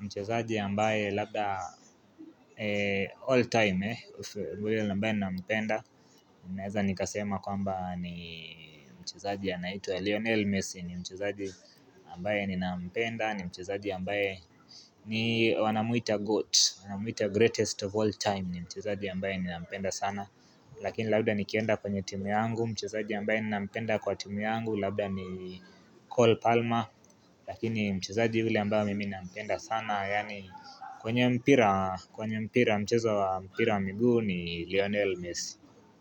mchezaji ambae labda all time eh, ambaye ambae nina mpenda. Nineza nikasema kwamba ni mchezaji anaitwa Leonel Messi ni mchezo ambae nina mpenda, ni mchezaji ambae ni wanamuita goat, wanamuita greatest of all time ni mchezo ambae nina mpenda sana. Lakini labda nikienda kwenye timu yangu Mchezaji ambaye nina mpenda kwa timu yangu Labda ni Cole Palmer Lakini mchezaji ule ambaye mimi ninampenda sana Yani kwenye mpira mchezo wa mpira wa miguu ni Lionel Messi.